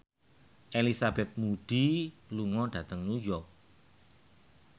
Elizabeth Moody lunga dhateng New York